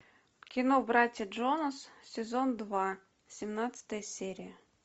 кино братья джонас сезон два семнадцатая серия